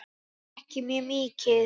Ekki mjög mikið.